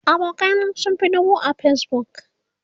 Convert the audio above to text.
abokanai na sun Fi dubu a Facebook